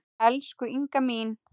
Elsku Inga mín.